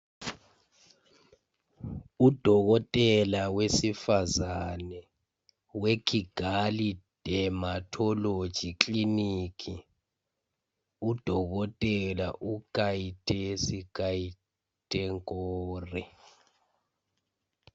Udokotela wesifazane we"Kigali Dermatology Clinic".Udokotela uKayitesi Kayitenkore .